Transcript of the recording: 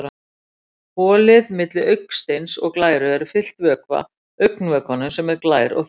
Holið milli augasteins og glæru er fyllt vökva, augnvökvanum sem er glær og þunnur.